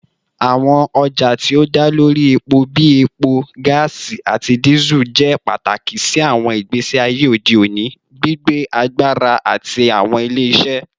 Awọn ọja ti o da lori epo bii epo, gaasi, ati Diesel jẹ pataki si awọn igbesi aye ode oni, gbigbe agbara ati awọn ile-iṣẹ